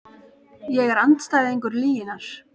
Ég er andstæðingur lyginnar.